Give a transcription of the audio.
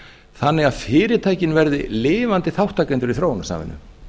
þannig að fyrirtækin verði lifandi þátttakendur í þróunarsamvinnu